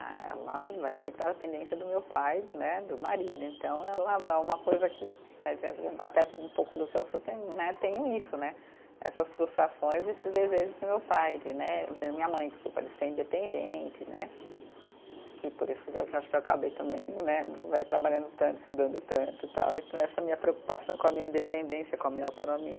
Ah ela vai sempre na dependência do meu pai né, do marido, então ela vai é uma coisa que né de, até um pouco do que eu tenho né , tenho é isso né essas frustrações e esses desejos do meu pai de né, da minha mãe desculpa, de ser independente né, que por isso que eu acho que eu acabei também né, vai trabalhando tanto estudando tanto tal, então essa minha preocupação com a minha independência, com a minha autonomia